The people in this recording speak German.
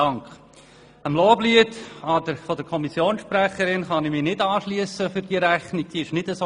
Dem Loblied der Kommissionssprecherin für den Inhalt dieser Rechnung kann ich mich hingegen nicht anschliessen.